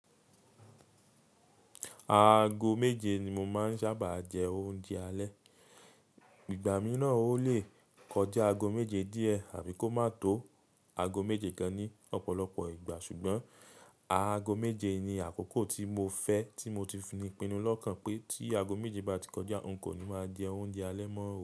Aago méje ni mo máa ń sábà jẹ oúnjẹ alẹ́. Igbà mìíràn ó lè kọjá aago méje díẹ̀ àbí kó máa tó aago méje gan ní ọ̀pọ̀lọpọ̀ ìgbà. Ṣùgbọ́n aago méje ni àkókò tí mo fẹ́ tí mo ti fi ní pinnu lọ́kàn pé tí aago méje bá ti kọjá, n kò ní máa jẹ oúnjẹ alẹ́ mọ́ o.